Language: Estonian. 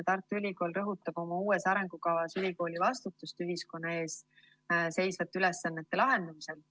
Tartu Ülikool rõhutab oma uues arengukavas ülikooli vastutust ühiskonna ees seisvate ülesannete lahendamisel.